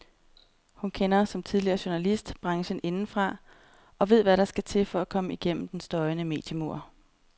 Hun kender, som tidligere journalist, branchen indefra og ved hvad der skal til for at komme gennem den støjende mediemur.